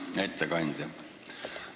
Hea ettekandja!